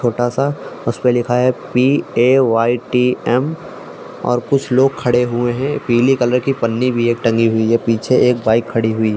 छोटा सा उसे पर लिखा है पेटीएम और कुछ लोग खड़े हुए हैं। पीले कलर के पन्नी भी एक टंगी हुई है। पीछे एक बाइक खड़ी हुई --